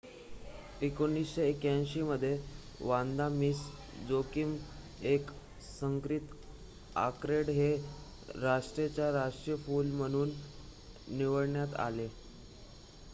1981 मध्ये Vanda Miss Joaquim एक संकरित ऑर्किड हे राष्ट्राचे राष्ट्रीय फुल म्हणून निवडण्यात आले